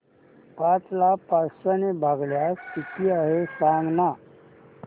पाच ला पाचशे ने भागल्यास किती आहे सांगना